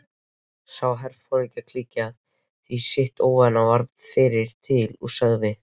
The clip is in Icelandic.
Sá herforingjaklíkan því sitt óvænna og varð fyrri til, sagði